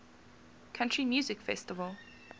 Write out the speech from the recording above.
country music festival